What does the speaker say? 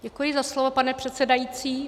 Děkuji za slovo, pane předsedající.